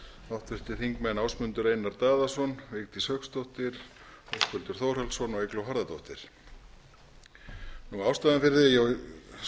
háttvirtur þingmaður ásmundur einar daðason vigdís hauksdóttir höskuldur þórhallsson og eygló harðardóttir ástæðan fyrir því að ég